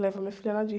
levar a minha filha na